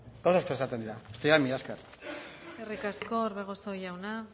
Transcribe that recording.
gauza asko esaten dira mila esker eskerrik asko orbegozo jauna